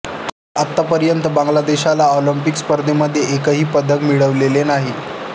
आत्तापर्यंत बांगलादेशला ऑलिंपिक स्पर्धांमध्ये एकही पदक मिळवलेले नाही